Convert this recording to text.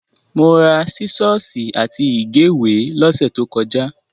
Mo ra sísọ́ọ́sì àti ìgéwèé lọ́sẹ̀ tó kọjá.